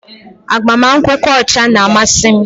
Agbamakwụkwọ ọcha na-amasị m